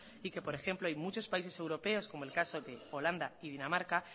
y que por ejemplo hay muchos países europeos como el caso de holanda y dinamarca